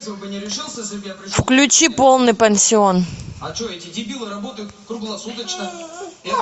включи полный пансион